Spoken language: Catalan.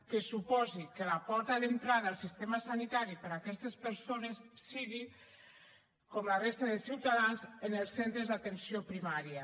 que suposi que la porta d’entrada al sistema sanitari per a aquestes persones sigui com per a la resta de ciutadans en els centres d’atenció primària